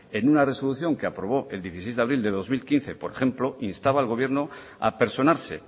en una resolución que aprobó el dieciséis de abril de dos mil quince por ejemplo instaba al gobierno a personarse